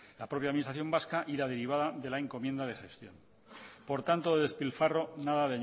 la propia administración vasca y la derivada de la encomienda de gestión por tanto despilfarro nada